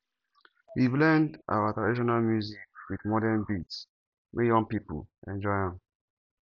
we dey blend our traditional music wit modern beats make young pipo enjoy am